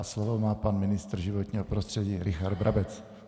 A slovo má pan ministr životního prostředí Richard Brabec.